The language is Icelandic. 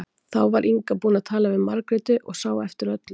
Þá var Inga búin að tala við Margréti og sá eftir öllu.